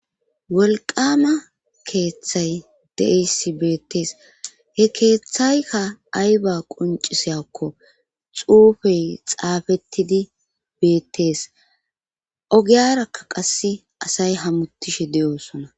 Wolqama keeththay deeissi beettees he keeththaykka ayba quncisayakko xuufey xaafettidi beettees ogiyarakka qasse asay hamutishe de7osona